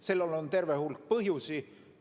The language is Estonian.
Sellel on terve hulk põhjusi.